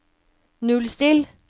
nullstill